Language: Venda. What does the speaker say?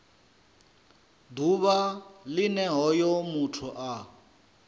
ḓuvha line hoyo muthu a